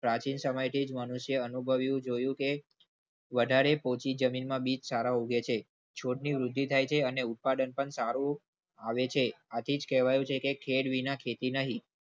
પ્રાચીન સમયથી જ મનુષ્ય અનુભવ્યું. જોયું કે વધારે પોચી જમીનમાં બીજ સારા ઉગે હોય છે. છોડની વૃદ્ધિ થાય છે અને ઉત્પાદન પણ સારું આવે છે. આ થી જ કહેવાય છે કે ખેળ વિના ખેતી નહી.